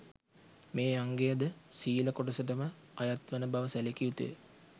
මේ අංගය ද සීල කොටසටම අයත්වන බව සැලකිය යුතු ය